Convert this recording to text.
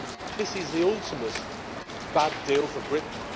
This is the ultimate bad deal for Britain.